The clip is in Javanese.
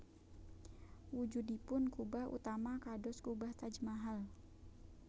Wujudipun kubah utama kados kubah Taj Mahal